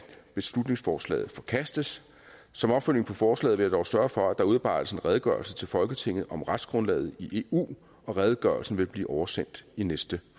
beslutningsforslaget forkastes som opfølgning på forslaget vil jeg dog sørge for at der udarbejdes en redegørelse til folketinget om retsgrundlaget i eu og redegørelsen vil blive oversendt i næste